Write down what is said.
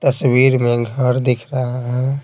तस्वीर में घर दिख रहा है।